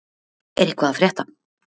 Er eitthvað að frétta?